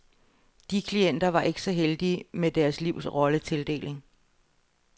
De klienter var ikke så heldige med deres livs rolletildeling.